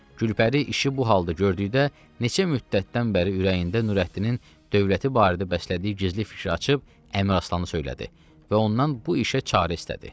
Gülpəri işi bu halda gördükdə neçə müddətdən bəri ürəyində Nürəddinin dövləti barədə bəslədiyi gizli fikri açıb Əmiraslana söylədi və ondan bu işə çarə istədi.